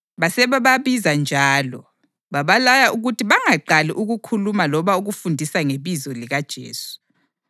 Basebebabiza njalo, babalaya ukuthi bangaqali ukukhuluma loba ukufundisa ngebizo likaJesu.